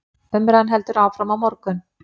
Umræðan heldur áfram á morgun.